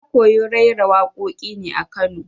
Na koyi raira waƙoƙin ne a Kano